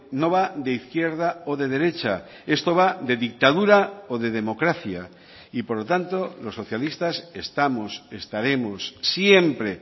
no va de izquierda o de derecha esto va de dictadura o de democracia y por lo tanto los socialistas estamos estaremos siempre